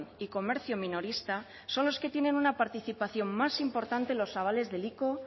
y comercio minorista son los que tienen una participación más importante en los avales del ico